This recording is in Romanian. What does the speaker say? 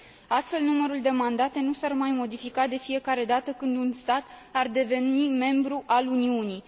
Astfel, numărul de mandate nu s ar mai modifica de fiecare dată când un stat ar deveni membru al Uniunii.